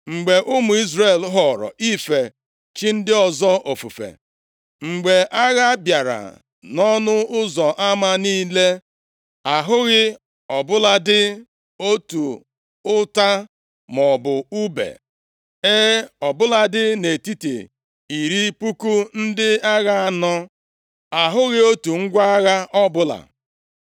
Mgbe ụmụ Izrel họrọ ife chi ndị ọzọ ofufe, mgbe agha bịara nʼọnụ ụzọ ama niile, ahụghị ọ bụladị otu ụta maọbụ ùbe. + 5:8 Ndị iro ha ekwekwaghị ka onye Izrel ọbụla jide ngwa agha ọbụla. E, ọ bụladị nʼetiti iri puku ndị agha anọ, a hụghị otu ngwa agha ọbụla.